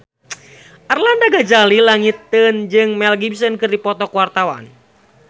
Arlanda Ghazali Langitan jeung Mel Gibson keur dipoto ku wartawan